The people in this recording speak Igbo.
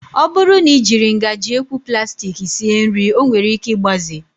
Ọ bụrụ na I jiri ngaji ekwu plastik sie nri ọ nwere ike igbaze